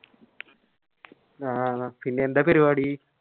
ആന്നോ പിന്നെ എന്താ പരിപാടി